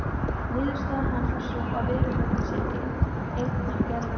Niðurstaða hans var sú að veruleikinn sé einnar gerðar.